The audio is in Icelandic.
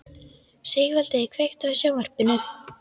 Sigvaldi, kveiktu á sjónvarpinu.